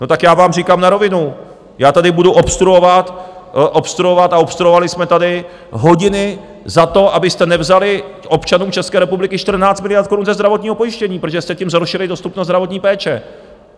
No, tak já vám říkám na rovinu, já tady budu obstruovat, obstruovat a obstruovali jsme tady hodiny za to, abyste nevzali občanům České republiky 14 miliard korun ze zdravotního pojištění, protože jsme tím zhoršili dostupnost zdravotní péče.